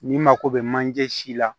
N'i mako bɛ manje si la